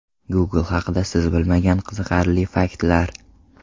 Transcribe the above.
Google haqida siz bilmagan qiziqarli faktlar.